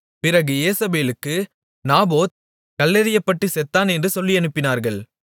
பிறகு யேசபேலுக்கு நாபோத் கல்லெறியப்பட்டு செத்தான் என்று சொல்லியனுப்பினார்கள்